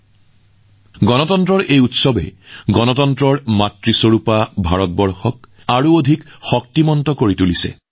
আমাৰ গণতন্ত্ৰৰ এই উৎসৱবোৰে ভাৰতক গণতন্ত্ৰৰ মাতৃ হিচাপে আৰু অধিক শক্তিশালী কৰে